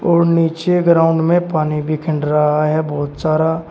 और नीचे ग्राउंड में पानी भी खंड रहा है बहोत सारा।